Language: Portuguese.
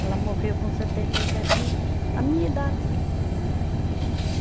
Ela morreu com setenta e sete anos, a minha idade. E e